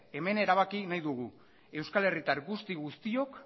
hemen erabaki nahi dugu euskal herritar guzti guztiok